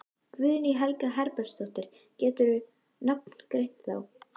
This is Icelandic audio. Guðný Helga Herbertsdóttir: Geturðu nafngreint þá?